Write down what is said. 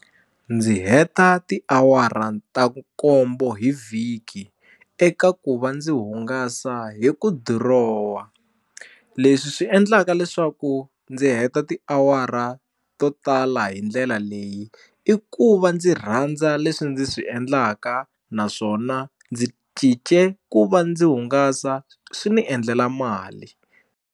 Ndzi heta tiawara ta nkombo hi vhiki eka ku va ndzi hungasa hi ku dirowa leswi swi endlaka leswaku ndzi heta tiawara to tala hi ndlela leyi i ku va ndzi rhandza leswi ndzi swi endlaka naswona ndzi cince ku va ndzi hungasa swi ndzi endlela mali.